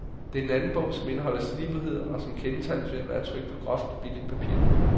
Det er den anden en bog som indeholder slibrigheder, og som kendetegnes ved at være trykt på groft, billigt papir.